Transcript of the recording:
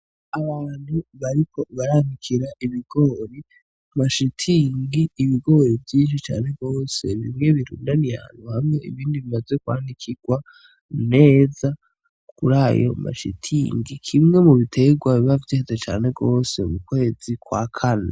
Abantu bariko baranikira ibigori ku mahema vyinshi cane gose bimwe birundaniye ahantu hamwe ibindi bimaze kwanikirwa neza kurayo mashitingi kimwe mubitegwa biba vyeza mukwezi kwa kane.